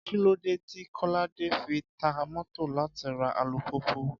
Kí ló dé tí Kọ́ládé fi ta mọ́tò láti ra alùpùpù?